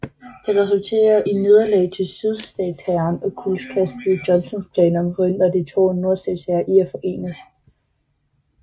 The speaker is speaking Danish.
Det resulterede i nederlag til sydstatshæren og kuldkastede Johnstons planer om at forhindre de to nordstatshære i at forenes